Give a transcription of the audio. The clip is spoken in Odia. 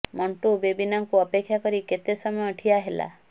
ମଣ୍ଟୁ ବେବିନାଙ୍କୁ ଅପେକ୍ଷା କରି କେତେ ସମୟ ଠିଆ ହେଲା